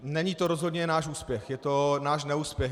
Není to rozhodně náš úspěch, je to náš neúspěch.